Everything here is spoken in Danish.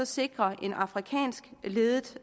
sikre en afrikansk ledet